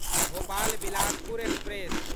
Bhopal Bilaspur express